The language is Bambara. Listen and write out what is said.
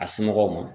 A somɔgɔw ma